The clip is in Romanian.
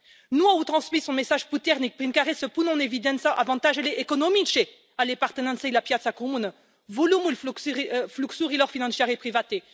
Nu au transmis un mesaj puternic prin care să pună în evidență avantajele economice ale apartenenței la piața comună, volumul fluxurilor financiare private.